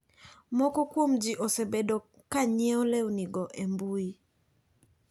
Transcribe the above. Moko kuom ji osebedo ka nyieo lewnigo e mbui.